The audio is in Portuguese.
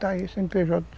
Está aí o cê ene pê jota